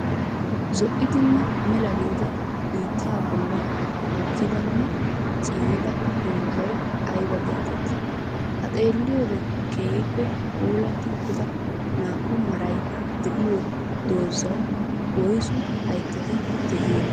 Zo'iddinne mela giddida biittaa bolla mokidanne ciiyida doozay aybba geetettii? Ha xeelliyoode keehippe puulatti uttida naa"u maray de'iyo doozawu woyssu hayttati de'iyoonaa?